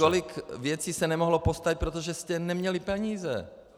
Kolik věcí se nemohlo postavit, protože jste neměli peníze.